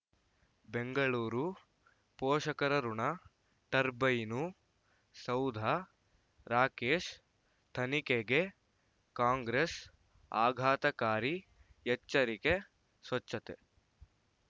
ಬೆಂಗಳೂರು ಪೋಷಕರಋಣ ಟರ್ಬೈನು ಸೌಧ ರಾಕೇಶ್ ತನಿಖೆಗೆ ಕಾಂಗ್ರೆಸ್ ಆಘಾತಕಾರಿ ಎಚ್ಚರಿಕೆ ಸ್ವಚ್ಛತೆ